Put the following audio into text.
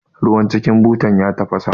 Ruwan cikin butan ya tafasa